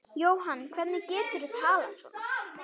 Jóhann, hvernig geturðu talað svona?